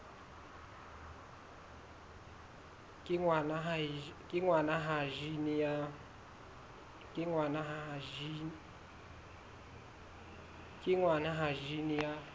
kenngwa ha jine ya bt